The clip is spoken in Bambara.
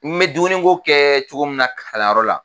N bɛ dumuni ko kɛ cogo min na kalayɔrɔ la